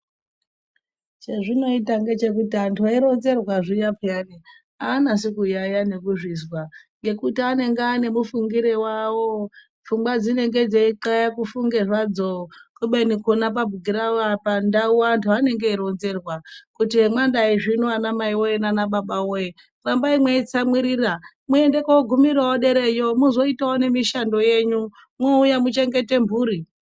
Chezvinoita ngechekuti antu eironzerwa zviya pheyani, aanasi kuyaiya nekuzvizwa nekuti anenge anemufungire wavo. Pfungwa dzinenge dzeitxaya kufunge zvadzo khubeni pona pandau antu anenge eironzerwa kuti emwadaizvino anamai nanababa woye, rambai mweitsamwirira muende kogumirewo dereyo muzoitawo nemishando yenyu, moouya muchengete mhuri.